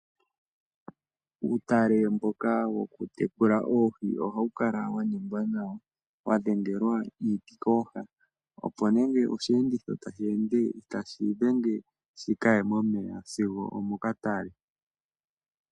Uutale mboka wokutekula oohi ohawu kala wa ningwa nawa. Wa dhengelwa iiti kooha, opo nenge oshiyenditho tashi ende, itashi idhenge shikaye momeya sigo omokatale.